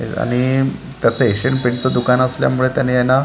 आणि त्याचं Asian paint च दुकान असल्यामुळे त्याने यांना--